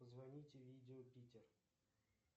позвоните видео питер